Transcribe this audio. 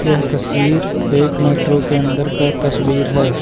यह तस्वीर एक मैट्रो के अन्दर का तस्वीर है।